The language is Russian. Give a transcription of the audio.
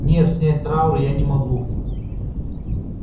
нет снять траур я не могу